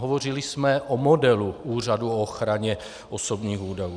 Hovořili jsme o modelu Úřadu na ochranu osobních údajů.